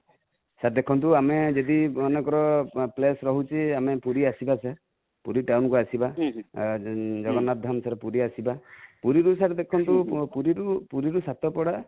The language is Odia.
sir ଦେଖନ୍ତୁ ଆମେ ଯଦି ମନେକର place ରହୁଛି ଆମେ ପୁରୀ ଆସିବା sir ,ପୁରୀ town କୁ ଆସିବା ଜଗନ୍ନାଥ ଧାମ sir ପୁରୀ ଆସିବା, ପୁରୀ ରୁ sir ଦେଖନ୍ତୁ ପୁରୀ ରୁ sir ସାତପଡ଼ା